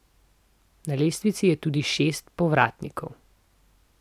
Na lestvici je tudi šest povratnikov.